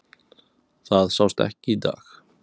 Það sást ekki í dag.